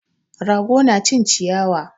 Rago na cin ciyawa